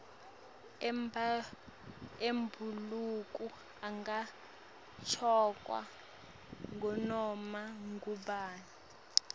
emabhuluko angagcokwa ngunoma ngubani